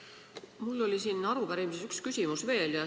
Meil oli arupärimises üks küsimus veel.